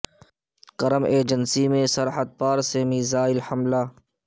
کرم ایجنسی میں سرحد پا ر سے میزائل حملہ